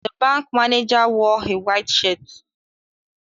The bank manager wore a white shirt